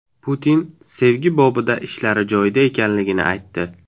Putin sevgi bobida ishlari joyida ekanligini aytdi.